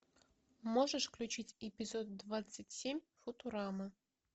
можешь включить эпизод двадцать семь футурама